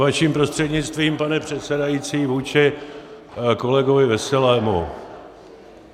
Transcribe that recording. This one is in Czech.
Vaším prostřednictvím pane předsedající vůči kolegovi Veselému.